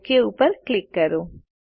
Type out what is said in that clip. okay ઉપર click કરો